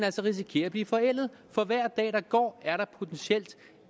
risikerer at blive forældet for hver dag der går er der